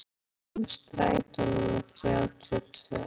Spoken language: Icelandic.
Vilgeir, hvenær kemur strætó númer þrjátíu og tvö?